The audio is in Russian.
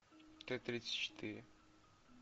т тридцать четыре